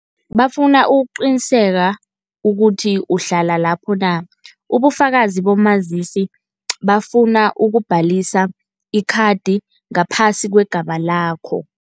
Bafuna ukuqiniseka ukuthi uhlala lapho na, ubufakazi bomazisi bafuna ukubhalisa ikhathi ngaphasi kwegama lakho.